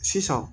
Sisan